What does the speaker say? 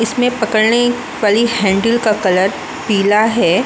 इसमें पकड़ने वाली हैन्डल का कलर पीला है ।